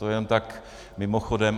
To jen tak mimochodem.